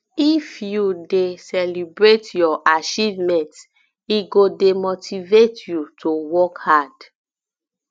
if you um dey um celebrate your achievements e go dey motivate um you to work hard